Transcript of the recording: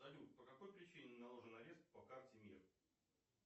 салют по какой причине наложен арест по карте мир